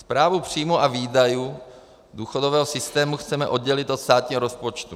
Správu příjmů a výdajů důchodového systému chceme oddělit od státního rozpočtu.